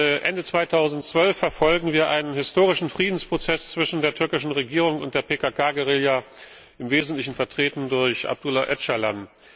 Seit Ende 2012 verfolgen wir einen historischen Friedensprozess zwischen der türkischen Regierung und der PKK Guerilla, im Wesentlichen vertreten durch Abdullah Öcalan.